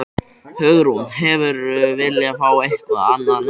Hugrún: Hefðirðu viljað fá eitthvað annað nafn?